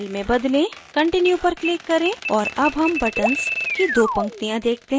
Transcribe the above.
continue पर click करें और अब हम buttons की दो पंक्तियाँ देखते हैं